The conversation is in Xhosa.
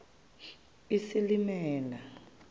isilimela